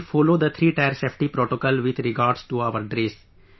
We follow the threetier safety protocol with regards to our dress